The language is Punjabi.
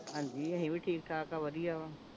ਹਾਂਜੀ ਅਸੀਂ ਵੀ ਠੀਕ ਠਾਕ ਹਾਂ ਵਧੀਆ ਵਾ